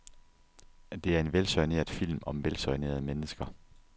Det er en velsoigneret film om velsoignerede mennesker.